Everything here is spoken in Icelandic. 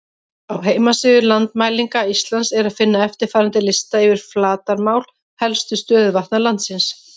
Á heimasíðu Landmælinga Íslands er að finna eftirfarandi lista yfir flatarmál helstu stöðuvatna landsins: